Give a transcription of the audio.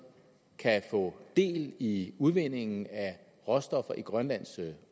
kan få del i udvindingen af råstoffer i grønlands